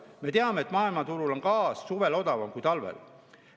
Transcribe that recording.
Me teame, et maailmaturul on gaas suvel odavam kui talvel.